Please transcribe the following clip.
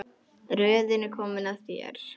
Röðin er komin að þér.